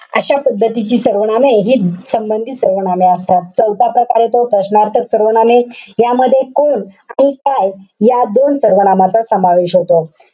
अशा पद्धतीची सर्वनामे. हि संबंधीत सर्वनामे असतात. चौथा प्रकार येतो, प्रश्नार्थक सर्वनामे. यामध्ये कोण आणि काय या दोन सर्वनामांचा समावेश होतो.